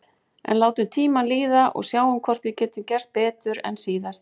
En látum tímann líða og sjáum hvort við getum gert betur en síðast.